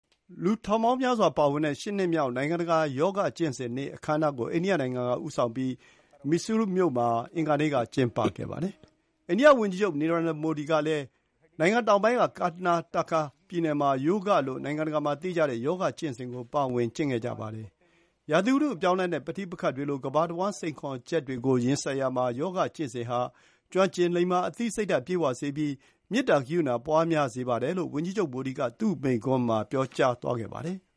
လူထောင်ပေါင်းများစွာ ပါဝင်တဲ့ ရှစ်နှစ်မြောက် နိုင်ငံတကာ ယောဂကျင့်စဉ်နေ့ အခမ်းအနားကို အိန္ဒိယနိုင်ငံက ဦးဆောင်ပြီး Mysuru မြို့မှာ အင်္ဂါနေ့က ကျင်းပပါတယ်။ အိန္ဒိယဝန်ကြီးချုပ် Narendra Modi ကလည်း နိုင်ငံတောင်ပိုင်းက ကာနာတာကာ (Karnataka) ပြည်နယ်မှာ Yoga လို့ နိုင်ငံတကာမှာသိကြတဲ့ ယောဂီကျင့်စဉ်ကို ပါဝင် ကျင့်ခဲ့ပါတယ်။ ရာသီဥတုအပြောင်းအလဲနဲ့ ပဋိပက္ခတွေလို ကမ္ဘာတဝှမ်း စိန်ခေါ်ချက်တွေကို ရင်ဆိုင်ရာမှာ ယောဂကျင့်စဉ်ဟာ ကျွမ်းကျင်လိမ္မာ၊ အသိစိတ်ဓာတ်ပြည့်ဝစေပြီး၊ မေတ္တာ ဂရုဏာ ပွါးများစေပါတယ်လို့ ဝန်ကြီးချုပ် မိုဒီက သူ့မိန့်ခွန်းမှာ ပြောကြားသွားခဲ့ပါတယ်။